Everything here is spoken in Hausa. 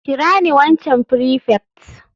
Kira ni waccan prefect.